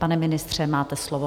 Pane ministře, máte slovo.